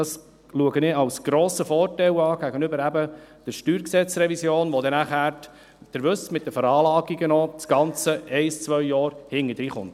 Dies erachte ich als grossen Vorteil gegenüber der StG-Revision, bei der nachher – Sie wissen es – das Ganze mit den Veranlagungen ein bis zwei Jahre hinterherkommt.